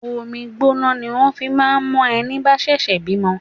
Omi gbóná ni wón fi máa ń mo ẹni bá ṣẹ̀ṣẹ̀ bímọ.